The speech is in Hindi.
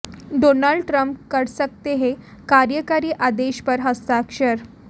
डोनाल्ड ट्रंप कर सकते हैं कार्यकारी आदेश पर हस्ताक्षर